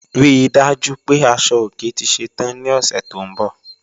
Rí dájú pé asọ-ọ̀kè tì ṣẹ́tàn ní ọṣẹ́ tó nbọ̀.